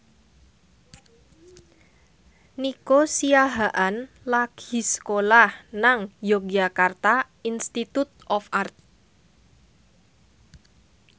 Nico Siahaan lagi sekolah nang Yogyakarta Institute of Art